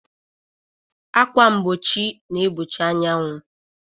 Ákwà mgbochi na-egbochi anyanwụ